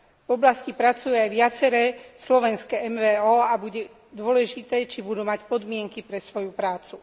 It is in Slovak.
V oblasti pracujú aj viaceré slovenské MVO a bude dôležité, či budú mať podmienky pre svoju prácu.